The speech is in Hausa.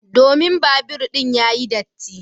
Domin babur din yayi datti.